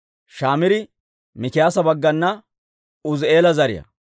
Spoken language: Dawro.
Shamiiri Mikiyaasa baggana Uuzi'eela zariyaa.